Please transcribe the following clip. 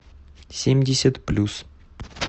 семьдесят плюс